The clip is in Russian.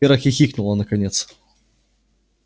вера хихикнула наконец